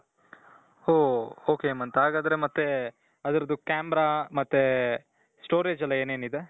ಓ ok Hemanth ಹಾಗಾದ್ರೆ ಮತ್ತೆ ಅದರದ್ದು camera ಮತ್ತೆ storage ಎಲ್ಲಾ ಏನೇನಿದೆ ?